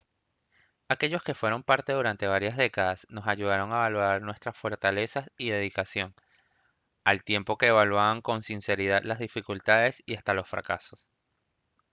aquellos que fueron parte durante varias décadas nos ayudaron a valorar nuestras fortalezas y dedicación al tiempo que evaluaban con sinceridad las dificultades y hasta los fracasos